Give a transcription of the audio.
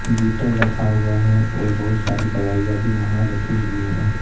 Dettol रखा हुआ हैं और बहुत सारे दवाई भी वहां रखी हुई हैं।